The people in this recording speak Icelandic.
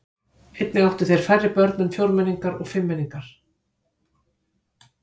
Einnig áttu þeir færri börn en fjórmenningar og fimmmenningar.